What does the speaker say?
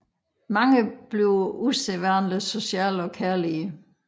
Mange bliver usædvanligt sociale og kærlige